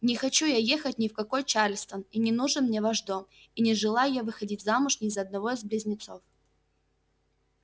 не хочу я ехать ни в какой чарльстон и не нужен мне ваш дом и не желаю я выходить замуж ни за одного из близнецов